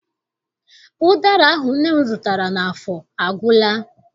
Ụdara ahụ nne m zụtara n'afọ agwụla.